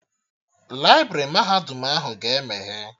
Laibrị mahadum ahụ ga-emeghe